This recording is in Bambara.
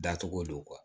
Dacogo don